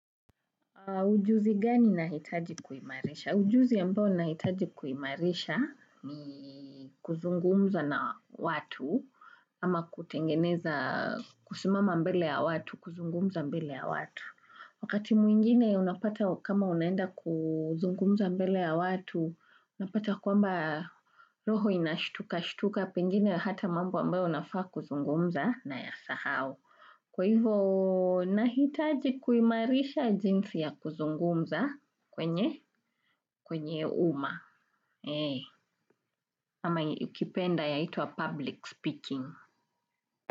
Ujuzi gani nahitaji kuimarisha? Ujuzi ambao nahitaji kuimarisha ni kuzungumza na watu, ama kutengeneza kusimama mbele ya watu kuzungumza mbele ya watu. Wakati mwingine unapata kama unaenda kuzungumza mbele ya watu, unapata kwamba roho inashtuka shtuka pengine hata mambo ambayo unafaa kuzungumza unayasahau. Kwa hivo nahitaji kuimarisha jinsi ya kuzungumza kwenye kwenye umma ama ukipenda yaitwa public speaking.